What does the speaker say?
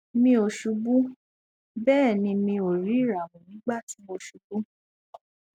mi ò ṣubú bẹẹ ni mi ò rí ìràwọ nígbà tí mo ṣubú